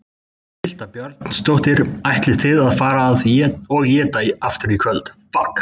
Birta Björnsdóttir: Ætlið þið að fara og éta aftur í kvöld?